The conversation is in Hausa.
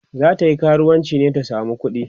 zatayi karuwanci ne ta samo kuɗi?